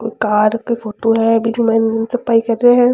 Car का photo है बिग माइन सफाई कर रहे है।